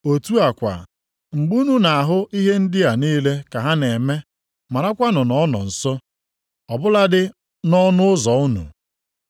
Otu a kwa, mgbe unu na-ahụ ihe ndị a niile ka ha na-eme marakwanụ na ọ nọ nso, ọ bụladị nʼọnụ ụzọ unu.